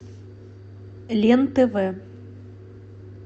лен тв